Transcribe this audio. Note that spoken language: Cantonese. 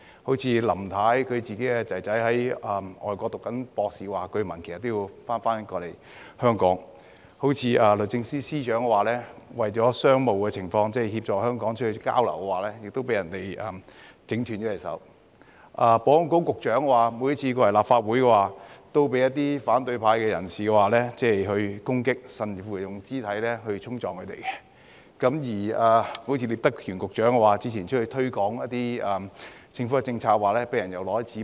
例如，林太的兒子在外國修讀博士課程，據聞也要返回香港；律政司司長為了商務，為協助香港而到外地參加交流，也被人整斷手；保安局局長每次來到立法會，也被反對派人士攻擊，甚至用肢體衝撞；聶德權局長之前推廣一些政府政策，被人擲紙杯。